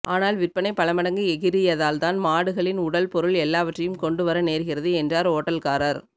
ஆனால் விற்பனை பலமடங்கு எகிறியதனால்தான் மாடுகளின் உடல் பொருள் எல்லாவற்றையும் கொண்டுவர நேர்கிறது என்றார் ஓட்டல்காரர்